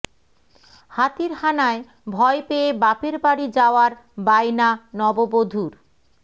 হাতির হানায় ভয় পেয়ে বাপের বাড়ি যাওয়ার বায়না নববধূর